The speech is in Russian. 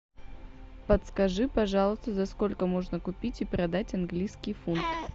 подскажи пожалуйста за сколько можно купить и продать английский фунт